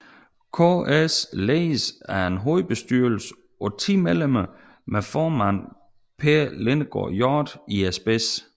KS ledes af en hovedbestyrelse på 10 medlemmer med formand Per Lindegaard Hjorth i spidsen